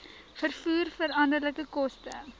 vervoer veranderlike koste